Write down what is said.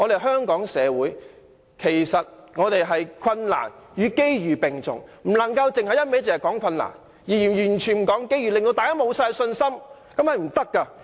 香港目前困難與機遇並重，我們不能只提困難而完全不提機遇，令大家信心盡失。